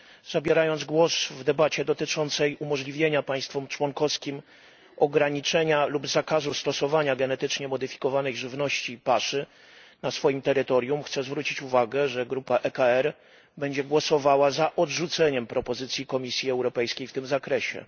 Zabierając głos w debacie dotyczącej umożliwienia państwom członkowskim ograniczenia lub zakazu stosowania genetycznie modyfikowanej żywności i paszy na swoim terytorium, chciałbym zwrócić uwagę, że grupa ECR będzie głosowała za odrzuceniem wniosku Komisji Europejskiej w tej sprawie.